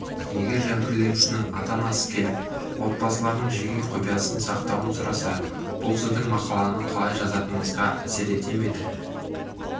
егер жәбірленушінің ата-анасы келіп отбасыларының жеке құпиясын сақтауын сұраса бұл сіздің мақаланы қалай жазатыныңызға әсер етер ме еді